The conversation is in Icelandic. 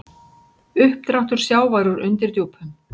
Uppdráttur sjávar úr undirdjúpum